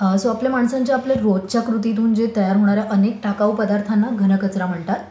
So आपल्या माणसांच्या आपल्या रोजच्या कृतीमधून जे तयार होणाऱ्या अनेक टाकाऊ पदार्थांना घनकचरा म्हणतात.